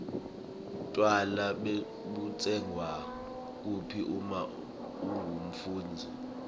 tjwala butsengwa kuphi uma ungumfundzi